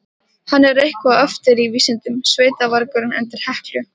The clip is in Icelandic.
Hann er eitthvað á eftir í vísindunum, sveitavargurinn undir Heklu.